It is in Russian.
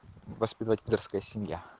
воспитывает пидорская семья